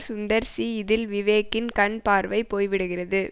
சுந்தர் சி இதில் விவேக்கின் கண் பார்வை போய்விடுகிறது